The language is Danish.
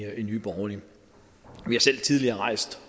nye borgerlige vi har selv tidligere rejst